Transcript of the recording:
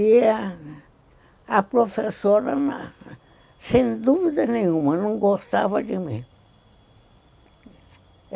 E a professora, sem dúvida nenhuma, não gostava de mim.